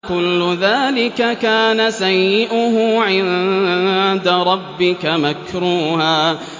كُلُّ ذَٰلِكَ كَانَ سَيِّئُهُ عِندَ رَبِّكَ مَكْرُوهًا